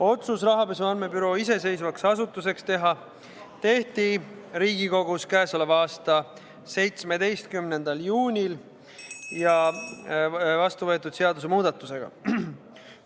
Otsus rahapesu andmebüroo iseseisvaks asutuseks teha tehti Riigikogus k.a 17. juunil vastu võetud seadusemuudatusega.